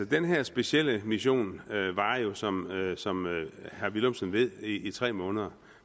den her specielle mission varer jo som som herre villumsen ved i tre måneder